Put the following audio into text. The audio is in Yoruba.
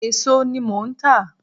Èso ní mo ń tà